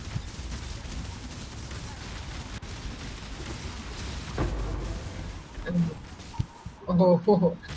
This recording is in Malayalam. ഒന്നോർത്തോ ഹോ